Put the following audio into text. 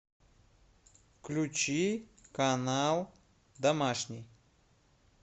включи канал домашний